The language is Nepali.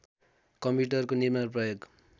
कम्प्युटरको निर्माण प्रयोग